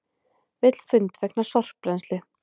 Vill fund vegna sorpbrennslu